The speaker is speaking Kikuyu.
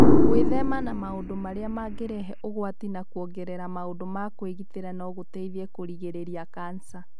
Gwĩthema na maũndu arĩa mangĩrehe ũgwati na kũongerera maũndu ma kwĩgitĩra no gũteithie kũrigĩrĩria kanca.